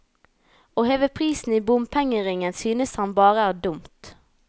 Å heve prisen i bompengeringen synes han er bare dumt.